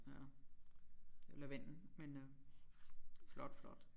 Ja det er lavendel men øh flot flot